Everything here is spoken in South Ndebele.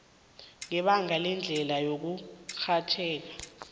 ngebanga lendlela yokurhatjheka